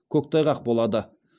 көктайғақ болады